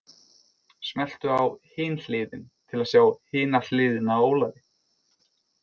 Smelltu á Hin Hliðin til að sjá hina hliðina á Ólafi.